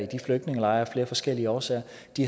de flygtningelejre af flere forskellige årsager